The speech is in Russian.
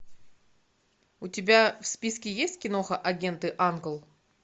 у тебя в списке есть киноха агенты анкл